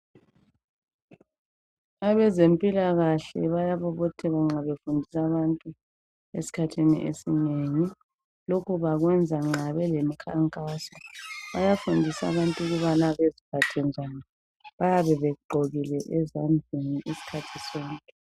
Abazempilakhle bayabobotheka nxa befundisa abantu esikhathini esinengi. Lokhu bakwenza nxa belemikhankaso. Bayafundisa abantu ukubana beziphathe njani. Bayabebegqokile ezandleni isikhathi sonke.